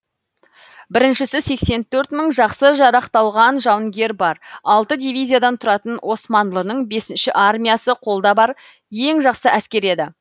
біріншісі сексен төрт мың жақсы жарақталған жауынгері бар алты дивизиядан тұратын османлының бесінші армиясы қолда бар ең жақсы әскер еді